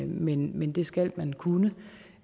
men men det skal man kunne